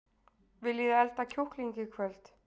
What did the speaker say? Viljiði elda kjúkling í kvöld?